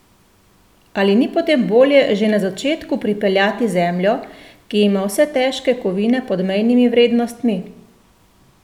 Ali ni potem bolje že na začetku pripeljati zemljo, ki ima vse težke kovine pod mejnimi vrednostmi?